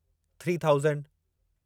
three thousand